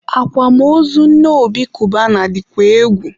akwamozu nne Obi Cubana dịkwa egwu